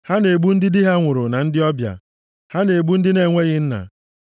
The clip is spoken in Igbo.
Ha na-egbu ndị di ha nwụrụ na ndị ọbịa; ha na-egbu ndị na-enweghị nna.